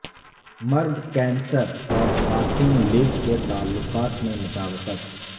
مرد کینسر اور خاتون لیو کے تعلقات میں مطابقت